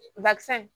Bakisɛ